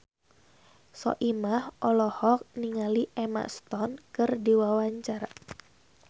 Soimah olohok ningali Emma Stone keur diwawancara